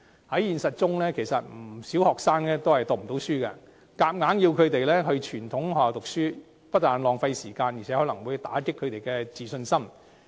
在現實中，其實不少學生也讀不成書，硬要他們到傳統學校就讀，不但浪費時間，更可能會打擊其自信心。